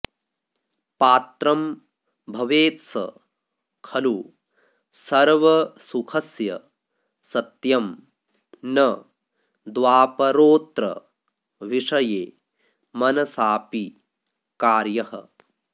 पात्रं भवेत्स खलु सर्वसुखस्य सत्यं न द्वापरोऽत्र विषये मनसापि कार्यः